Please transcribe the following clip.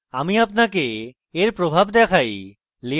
আমি আপনাকে এর প্রভাব দেখাই